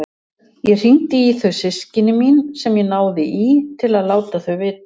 Ég hringdi í þau systkini mín sem ég náði í til að láta þau vita.